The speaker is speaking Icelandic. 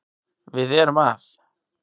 Við erum að